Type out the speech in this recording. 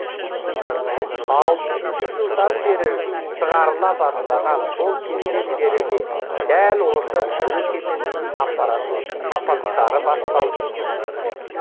алпысыншы жылдан бері шығарыла бастаған сол кезден бері де дәл осы әуе кемесінің апаттары басталды